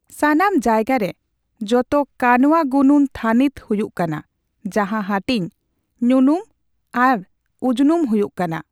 ᱥᱟᱱᱟᱢ ᱡᱟᱭᱜᱟ ᱨᱮ ᱡᱚᱛᱚ ᱠᱟᱱᱣᱟᱜᱩᱱᱩᱱ ᱛᱷᱟᱱᱤᱛ ᱦᱩᱭᱩᱜ ᱠᱟᱱᱟ, ᱡᱟᱸᱦᱟ ᱦᱟᱹᱴᱤᱧ ᱧᱩᱱᱩᱢ ᱟᱮ ᱩᱡᱱᱩᱢ ᱦᱩᱭᱩᱜ ᱠᱟᱱᱟ ᱾